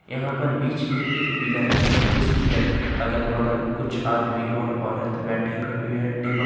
यहां पर बीच में एक पिलर है उस पिलर के अगल बगल कुछ आदमी और औरत बैठे हुए हैं टेबल --